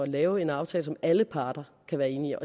lave en aftale som alle parter kan være enige